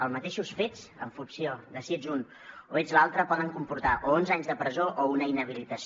els mateixos fets en funció de si ets un o ets l’altre poden comportar o onze anys de presó o una inhabilitació